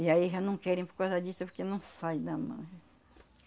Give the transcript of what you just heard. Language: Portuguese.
E aí já não querem por causa disso, porque não sai da mão.